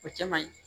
O cɛ man ɲi